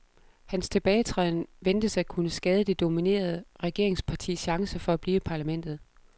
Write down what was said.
Hans tilbagetræden ventes at kunne skade det dominerende regeringspartis chance for blive i parlamentet.